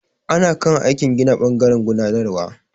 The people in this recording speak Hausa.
Ana kan aikin gina ɓangaren gudanarwar.